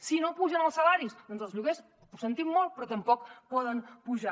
si no pugen els salaris doncs els lloguers ho sentim molt però tampoc poden pujar